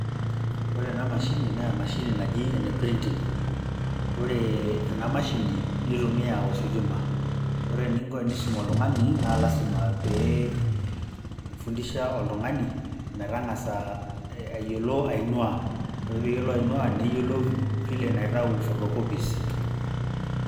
Ore ena mashini naa emashini naji ene printing. Ore ena mashini neitumia ositima. Ore ninko enisuma oltungani naa lasima pee fundisha oltungani metangasa aiyolo ainua. Ore peiyolo ainua , neiyolo vile naitau photocopies.